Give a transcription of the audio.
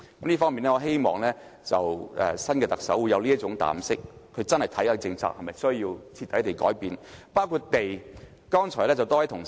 這方面，我希望新任特首會有這種膽識，認真研究某些政策是否需要徹底改變，包括土地政策。